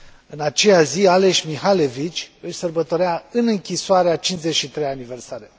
În aceeași zi, Ales Mikhalevich își sărbătorea în închisoare a 53 a aniversare.